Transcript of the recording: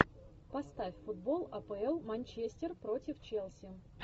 поставь футбол апл манчестер против челси